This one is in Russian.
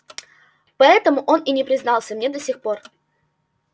поэтому он и не признался мне до сих пор